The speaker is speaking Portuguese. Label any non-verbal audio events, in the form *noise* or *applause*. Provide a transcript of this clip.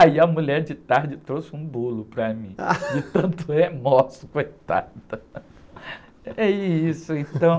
Aí a mulher de tarde trouxe um bolo para mim, *laughs* de tanto remorso, coitada. É isso, então...